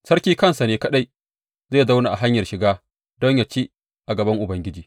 Sarki kansa ne kaɗai zai zauna a hanyar shiga don yă ci a gaban Ubangiji.